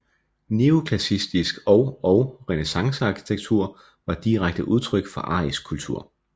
Neoklassicistisk og og renæssancearkitektur var direkte udtryk for arisk kultur